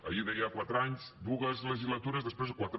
ahir deia quatre anys dues legislatures després quatre